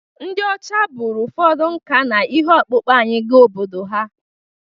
Ndị ọcha buru ụfọdụ nka na ihe ọkpụkpụ anyị gaa obodo ha